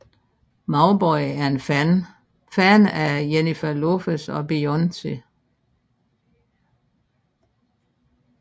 Mauboy er en fan af Jennifer Lopez og Beyoncé